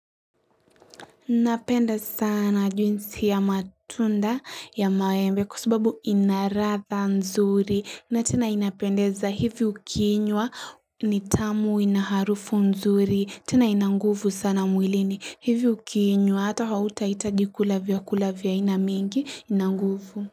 Napenda sana juisi ya matunda ya maembe kwa sababu inaradha nzuri na tena inapendeza hivi ukiinywa ni tamu inaharufu nzuri tena inanguvu sana mwilini hivi ukiinywa hata hautaitaji kula vyakula vya inamingi inanguvu.